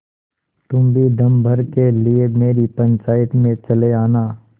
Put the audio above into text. तुम भी दम भर के लिए मेरी पंचायत में चले आना